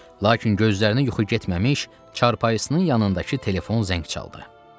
Lakin gözlərinə yuxu getməmiş, çarpayısının yanındakı telefon zəng çaldı.